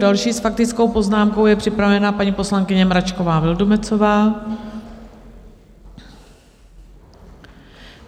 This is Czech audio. Další s faktickou poznámkou je připravena paní poslankyně Mračková Vildumetzová.